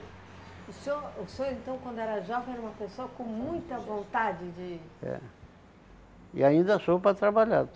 O senhor o senhor, então, quando era jovem, era uma pessoa com muita vontade de... É. E ainda sou para trabalhar.